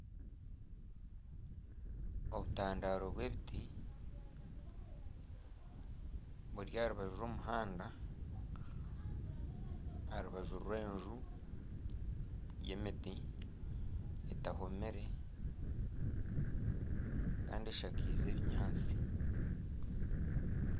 Obutandaro bw'ebiti buri aha rubaju rw'omuhanda Aha rubaju rw'enju yemiti etahomire kandi eshakiize ebinyaatsi.